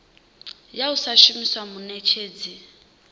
ya u sa shumisa muṋetshedzi